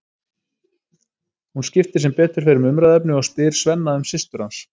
Hún skiptir sem betur fer um umræðuefni og spyr Svenna um systur hans.